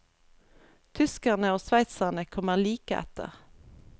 Tyskerne og sveitserne kommer like etter.